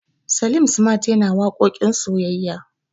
Salim smart yana waƙoƙin soyayya.